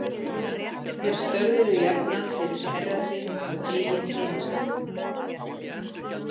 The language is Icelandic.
Þeir störfuðu jafnan fyrir herra sinn á eigin heimaslóðum.